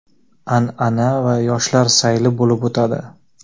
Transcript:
an’ana va yoshlar sayli bo‘lib o‘tadi.